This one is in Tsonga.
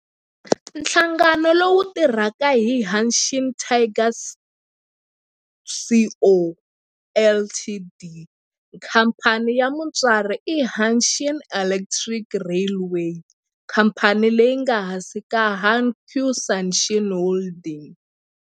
Nhlangano lowu tirhaka i Hanshin Tigers Co., Ltd. Khamphani ya mutswari i Hanshin Electric Railway, khamphani leyi nga ehansi ka Hankyu Hanshin Holdings.